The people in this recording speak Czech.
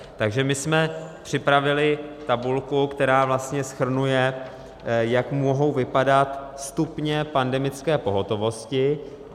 Takže my jsme připravili tabulku, která vlastně shrnuje, jak mohou vypadat stupně pandemické pohotovosti.